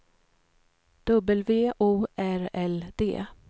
W O R L D